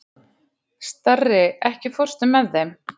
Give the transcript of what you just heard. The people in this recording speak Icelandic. Starri, ekki fórstu með þeim?